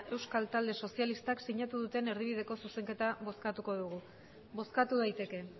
talde sozialistak sinatu duten erdibideko zuzenketa bozkatuko dugu bozkatu daiteke